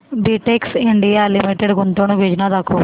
Betex India limited गुंतवणूक योजना दाखव